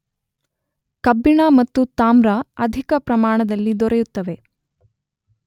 ಕಬ್ಬಿಣ ಮತ್ತು ತಾಮ್ರ ಅಧಿಕ ಪ್ರಮಾಣದಲ್ಲಿ ದೊರಕುತ್ತವೆ.